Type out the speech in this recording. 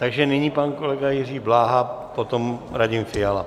Takže nyní pan kolega Jiří Bláha, potom Radim Fiala.